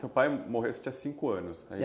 Seu pai mor, você tinha cinco anos, né isso? É.